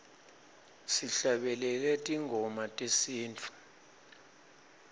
sihlabelele tingoma tesintfu